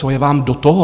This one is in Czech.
Co je vám do toho?